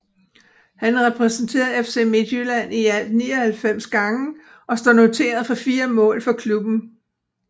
Han repræsenterede FC Midtjylland i alt 99 gange og står noteret for 4 mål for klubben